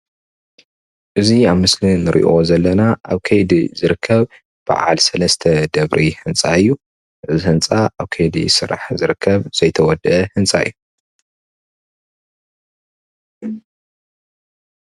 እዙይ ኣብ ምስሊ እንሪኦ ዘለና ኣብ ከይዲ ዝርከብ ባዓል ሰለስተ ደብሪ ህንፃ እዩ። እዙይ ህንፃ ኣብ ካይዲ ስራሕ ዝርከብ ዘይተወደአ ህንፃ እዩ።